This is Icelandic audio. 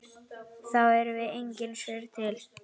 þá eru engin svör til.